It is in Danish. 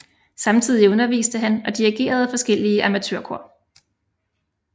Samtidig underviste han og dirigerede forskellige amatørkor